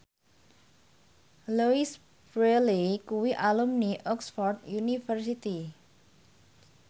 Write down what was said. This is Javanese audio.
Louise Brealey kuwi alumni Oxford university